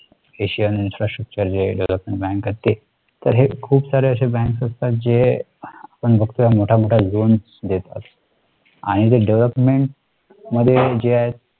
asianin frastructure जे आहे development bank आहेत ते तर हे खूप सारे असे banks असतात जे आपण फक्त मोठा मोठा LOANS देतात आणि जे DEVEELOPMENT मध्ये जे आहे